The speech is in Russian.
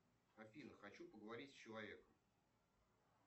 афина хочу поговорить с человеком